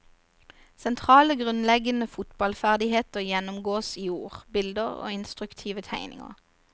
Sentrale grunnleggende fotballferdigheter gjennomgås i ord, bilder og instruktive tegninger.